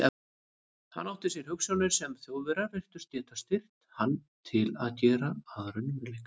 Hann átti sér hugsjónir, sem Þjóðverjar virtust geta styrkt hann til að gera að raunveruleika.